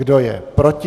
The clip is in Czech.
Kdo je proti?